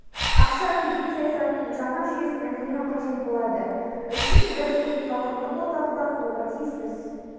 ақша-кредит саясатының жаңа жүйесін әзірлеу қажет болады үшін біз инфрақұрылымдық орталықтар құруға тиіспіз